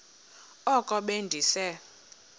oko be ndise